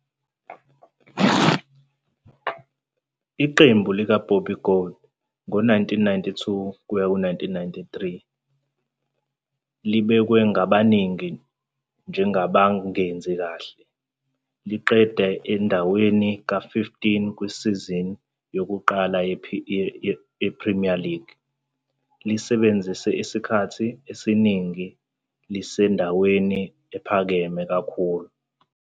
Iqembu likaBobby Gould ngo-1992-93 libhekwe ngabaningi njengabangenzi kahle, liqede endaweni ka-15 kusizini yokuqala yePremier League, lisebenzise isikhathi esiningi lisendaweni ephakeme kakhulu.